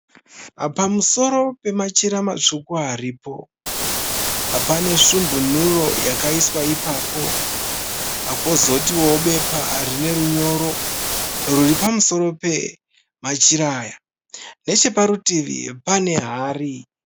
Pamusoro pemachira matsvuku aripo pane sumbunuro yakaiswa ipapo, kozotiwo bepa rine runyoro riripamusoro pemachira aya. Necheparutivi pane hari.